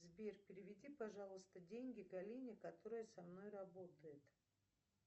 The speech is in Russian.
сбер переведи пожалуйста деньги галине которая со мной работает